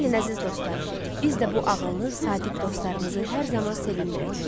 Gəlin, əziz dostlar, biz də bu ağıllı, sadiq dostlarımızı hər zaman sevindirək.